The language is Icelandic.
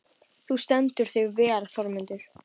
Þú stendur þig vel, Þormundur!